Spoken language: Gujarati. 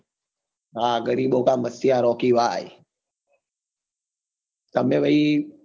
હા ગરીબો કા મસીહા રોકી ભાઈ તમે ભાઈ